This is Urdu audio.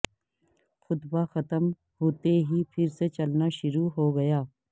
خطبہ ختم ہوتے ہی پھر سے چلنا شروع ہو گیا